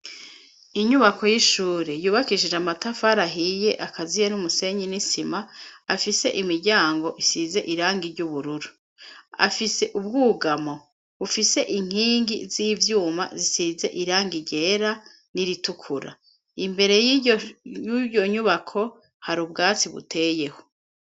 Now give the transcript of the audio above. inyubako y'ishure yubakishije amatafari ahiye akaziye n'umusenyi n'isima afise imiryango isize irangi ry'ubururu afise ubwugamo bufise inkingi z'ivyuma zisize irangi ryera n'iritukura imbere y'ubyo nyubako hari ubwatsi buteyeho